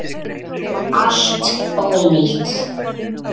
Allt ónýtt!